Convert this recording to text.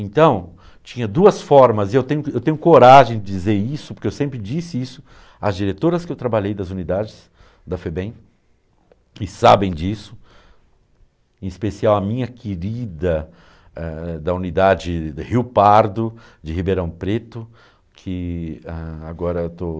Então, tinha duas formas, e eu tenho eu tenho coragem de dizer isso, porque eu sempre disse isso, às diretoras que eu trabalhei das unidades da FEBEM, que sabem disso, em especial a minha querida ãh, da unidade Rio Pardo, de Ribeirão Preto, que ãh agora estou...